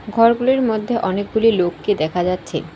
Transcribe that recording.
ঘরগুলির মধ্যে অনেকগুলি লোককে দেখা যাচ্ছে।